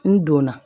N donna